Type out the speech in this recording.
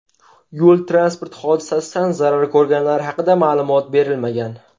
Yo‘l-transport hodisasidan zarar ko‘rganlar haqida ma’lumot berilmagan.